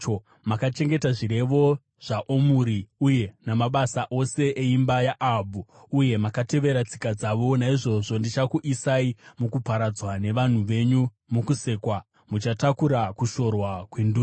Makachengeta zvirevo zvaOmuri uye namabasa ose eimba yaAhabhu, uye makatevera tsika dzavo. Naizvozvo ndichakuisai mukuparadzwa, nevanhu venyu mukusekwa; muchatakura kushorwa kwendudzi.”